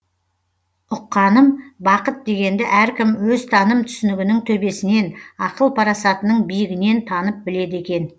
ұққаным бақыт дегенді әркім өзтаным түсінігінің төбесінен ақыл парасатының биігінен танып біледі екен